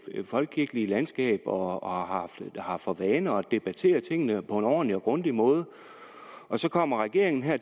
folkekirkelige landskab og har for vane at debattere tingene på en ordentlig og grundig måde og så kommer regeringen her